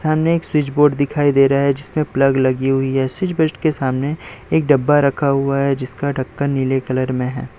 सामने एक switch board दिखाई दे रहा है जिसमें प्लग लगी हुई हैं स्विच बिस्ट के सामने एक डब्बा रखा हुआ है जिसका ढक्कन नीले कलर में है।